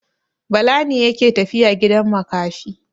Bala ne yake tafiya gidan makafi.